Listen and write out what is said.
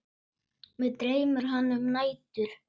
Mig dreymir hana um nætur.